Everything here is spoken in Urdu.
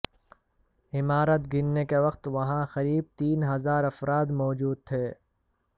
عمارت گرنے کے وقت وہاں قریب تین ہزار افراد موجود تھے